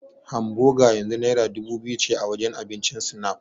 Hamboga yanzu naira dubu biyu ce a wajen abincin Snap.